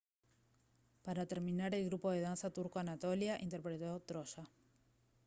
para terminar el grupo de danza turco anatolia interpretó «troya»